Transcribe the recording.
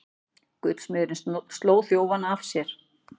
Gullsmiðurinn sló þjófana af sér